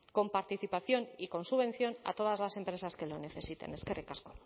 con participación y con subvención a todas las empresas que lo necesiten eskerrik asko